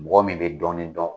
Mɔgɔ min bɛ dɔɔnin dɔn.